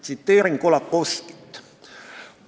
Tsiteerin Kolakowskit: "...